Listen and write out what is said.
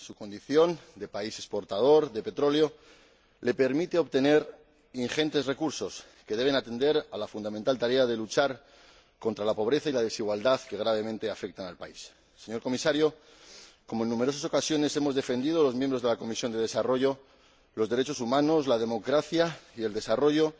Su condición de país exportador de petróleo le permite obtener ingentes recursos que deben atender a la fundamental tarea de luchar contra la pobreza y la desigualdad que gravemente afectan al país. Señor Comisario, como en numerosas ocasiones hemos defendido los miembros de la Comisión de Desarrollo, los derechos humanos, la democracia y el desarrollo